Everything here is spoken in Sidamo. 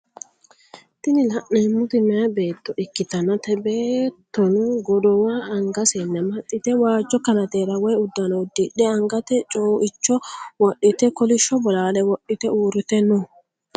Tini laneemmoti meyaa beetto ikkitanna te beettono godowa angasenni amaxite waajjo kanateera woyi uddano udidhe angate cuuicho wodhite kolishsho bolaale wodhite uurite no